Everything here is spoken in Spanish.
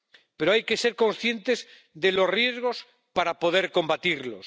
Pero hay que ser conscientes de los riesgos para poder combatirlos.